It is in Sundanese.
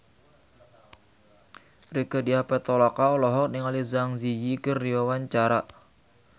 Rieke Diah Pitaloka olohok ningali Zang Zi Yi keur diwawancara